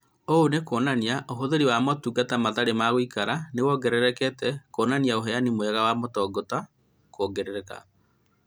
Ũũ nĩ kuonania ũhũthĩri wa motungata matarĩ ma gũikara nĩ wongererekete ũkĩonania ũheani mwega wa motungata kuongerereka